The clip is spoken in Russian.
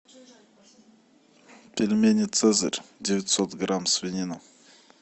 пельмени цезарь девятьсот грамм свинина